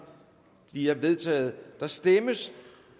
de er vedtaget der stemmes